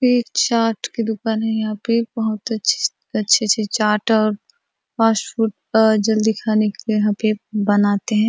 एक चाट की दूकान है यहाँ पे बहुत अच्छी सी अच्छी - अच्छी चाट और फास्टफूड का जल्दी खाने के लिए यहाँ पे बनाते है।